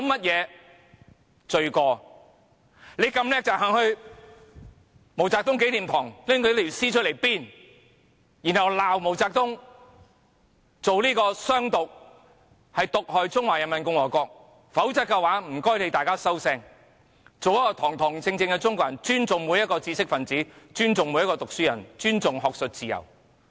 如果你們這麼厲害，便應到毛澤東紀念堂把他的屍體搬出來鞭，然後罵毛澤東主張"湘獨"，毒害中華人民共和國，否則便請你們"收聲"，做一個堂堂正正的中國人，尊重每一個知識分子、尊重每一個讀書人、尊重學術自由。